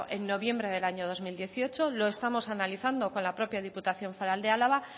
en noviembre de dos mil dieciocho lo estamos analizando con la propia diputación foral de álava